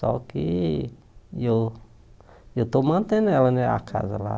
Só que eu eu estou mantendo ela né a casa lá.